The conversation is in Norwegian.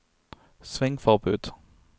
svingforbud